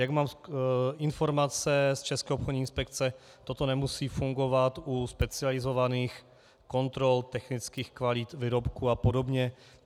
Jak mám informace z České obchodní inspekce, toto nemusí fungovat u specializovaných kontrol technických kvalit výrobků a podobně.